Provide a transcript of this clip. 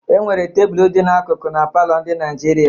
Enwere tebụl dị n'akụkụ na palọ ndị Naijiria.